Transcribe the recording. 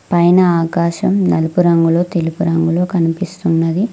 పైన ఆకాశం నలుపు రంగులో తెలుపు రంగులో కనిపిస్తున్నది.